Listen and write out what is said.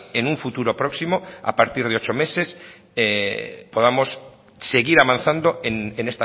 en un futuro próximo a partir de ocho meses podamos seguir avanzando en